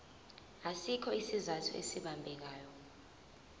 asikho isizathu esibambekayo